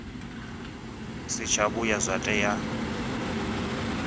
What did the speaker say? si tsha vhuya zwa tea